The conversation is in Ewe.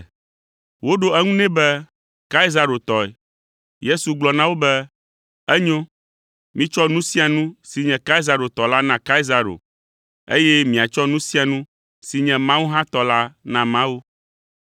Woɖo eŋu nɛ be, “Kaisaro tɔe.” Yesu gblɔ na wo be, “Enyo, mitsɔ nu sia nu si nye Kaisaro tɔ la na Kaisaro, eye miatsɔ nu sia nu si nye Mawu hã tɔ la na Mawu.”